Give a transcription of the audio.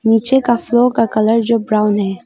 नीचे का फ्लोर का कलर जो ब्राउन है।